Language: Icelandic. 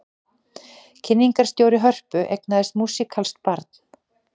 Kynningarstjóri Hörpu eignaðist músíkalskt barn